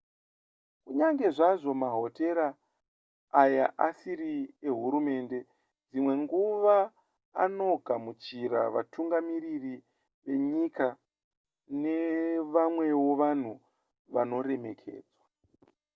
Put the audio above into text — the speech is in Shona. kunyange zvazvo mahotera aya asiri ehurumende dzimwe nguva anogamuchira vatungamiriri venyika nevamwewo vanhu vanoremekedzwa